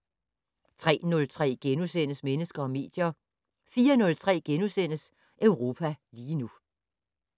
03:03: Mennesker og medier * 04:03: Europa lige nu *